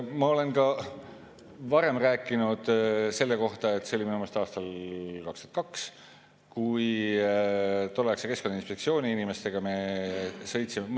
Ma olen ka varem rääkinud sellest, see oli minu meelest aastal 2002, kui me tolleaegse Keskkonnainspektsiooni inimestega.